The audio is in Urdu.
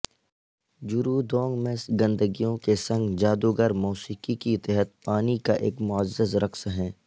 جروودونگ میں گندگیوں کے سنگھ جادوگر موسیقی کے تحت پانی کا ایک معزز رقص ہیں